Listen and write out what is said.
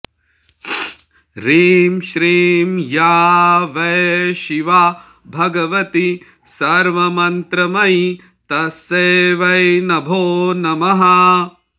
ह्रीं श्रीं या वै शिवा भगवती सर्वमन्त्रमयी तस्यै वै नभो नमः